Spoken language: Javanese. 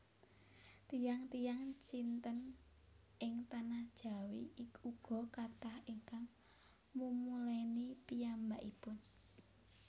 Tiyang tiyang Cinten ing tanah Jawi ugi kathah ingkang mumulèni piyambakipun